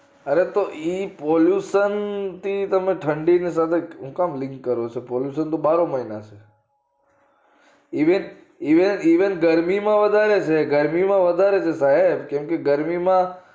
અરે તો એ pollution થી તમને ઠંડી ના હું કામ link કરો છો pollution તો બારે મહિના છે એ ગરમી માં વધારે છે એ ગરમી વધારે છે માં સાહેબ કેમ કે ગરમી માં